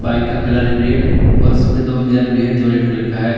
Bike का colour है red और उस पे दो मिरर भी है जो रेड कलर है।